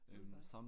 Udvalg